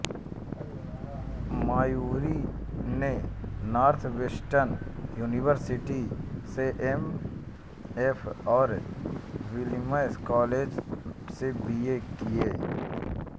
मायरी ने Northwestern University से MFA और विलियम्स कॉलेज से बीए किया